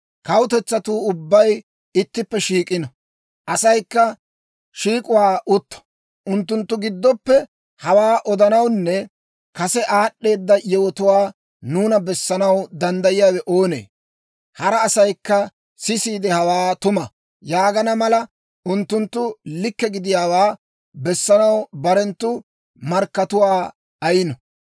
Kawutetsatuu ubbay ittippe shiik'ino; asaykka shiik'uwaa utto. Unttunttu giddoppe hawaa odanawunne kase aad'd'eeda yewotuwaa nuuna bessanaw danddayiyaawe oonee? Hara asaykka sisiide, «Hawe tuma» yaagana mala, unttunttu likke gidiyaawaa bessanaw barenttu markkatuwaa ayino.